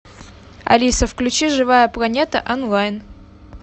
алиса включи живая планета онлайн